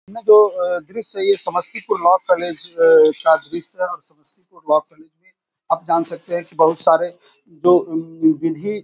इसमें जो अ दृश्य है ये समस्तीपुर लॉ कॉलेज अ का दृश्य है और समस्तीपुर लॉ कॉलेज आप जान सकते है की बहुत सारे अ जो विधि --